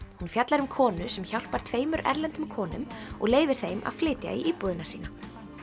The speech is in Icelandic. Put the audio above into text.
hún fjallar um konu sem hjálpar tveimur erlendum konum og leyfir þeim að flytja í íbúðina sína